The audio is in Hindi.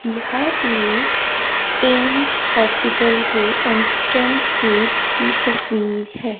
यह एक एम्स हॉस्पिटल के गेट की तस्वीर है।